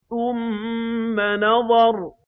ثُمَّ نَظَرَ